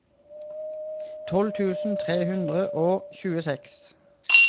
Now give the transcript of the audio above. tolv tusen tre hundre og tjueseks